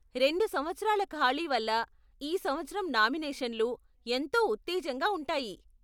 రెండు సంవత్సరాల ఖాళీ వల్ల ఈ సంవత్సరం నామినేషన్లు ఎంతో ఉత్తేజంగా ఉంటాయి.